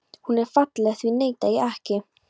Hún er falleg, því neita ég ekki.